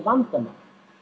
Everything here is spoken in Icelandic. vandamál